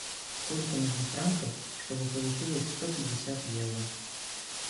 сколько нужно франков чтобы получилось сто пятьдесят евро